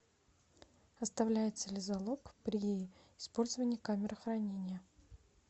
оставляется ли залог при использовании камеры хранения